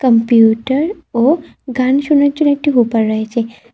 Computer ও গান শোনার জন্য একটি হুপার রয়েছে।